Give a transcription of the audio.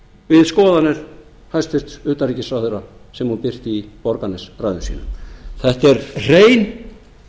við skoðanir hæstvirts utanríkisráðherra sem hún birti í borgarnesræðum sínum þetta er hrein